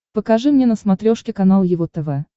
покажи мне на смотрешке канал его тв